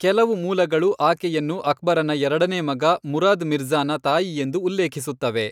ಕೆಲವು ಮೂಲಗಳು ಆಕೆಯನ್ನು ಅಕ್ಬರನ ಎರಡನೇ ಮಗ ಮುರಾದ್ ಮಿರ್ಜ಼ಾನ ತಾಯಿಯೆಂದು ಉಲ್ಲೇಖಿಸುತ್ತವೆ.